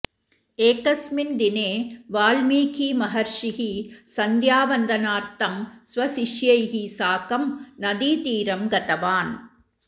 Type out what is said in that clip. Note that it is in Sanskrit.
एकस्मिन् दिने वाल्मीकिमहर्षिः सन्ध्यावन्दनार्थं स्वशिष्यैः साकं नदीतीरं गतवान्